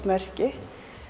merki